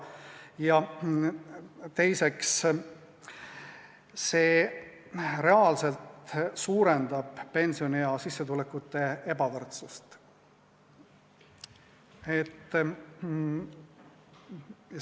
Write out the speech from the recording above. Ja teiseks, see reaalselt suurendab pensioniea sissetulekute ebavõrdsust.